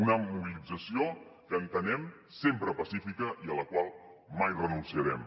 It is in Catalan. una mobilització que entenem sempre pacífica i a la qual mai renunciarem